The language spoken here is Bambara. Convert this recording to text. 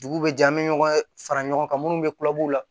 Dugu bɛ jɛ an bɛ ɲɔgɔn fara ɲɔgɔn kan minnu bɛ kulɛriw la